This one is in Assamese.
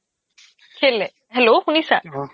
কেলেই hello, শুনিছা অ